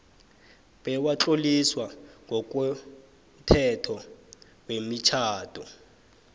bewatloliswa ngokomthetho wemitjhado